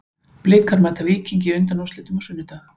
Blikar mæta Víkingi í undanúrslitum á sunnudag.